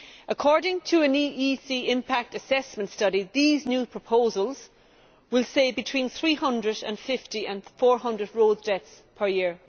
According to an EEC impact assessment study, these new proposals will save between 350 and 400 road deaths per year.